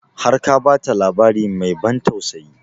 Har ka ba ta labari mai ban tausayi?